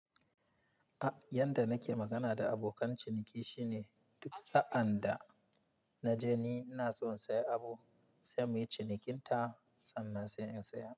A, yanda nake magana da abokan ciniki shine duksa'an da na je ni ina son saya abu, sai muyi cinikin ta sannan sai in saya.